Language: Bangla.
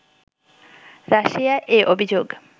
রাশিয়া এ অভিযোগ